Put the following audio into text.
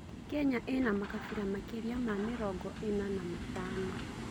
Kenya ĩna makabira makĩria ma mĩrongo ĩna na matano.